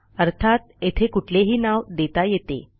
अर्थात येथे कुठलेही नाव देता येते